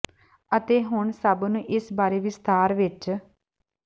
ਅਤੇ ਹੁਣ ਸਭ ਨੂੰ ਇਸ ਬਾਰੇ ਹੋਰ ਵਿਸਥਾਰ ਵਿੱਚ